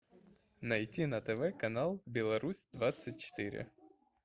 найти на тв канал беларусь двадцать четыре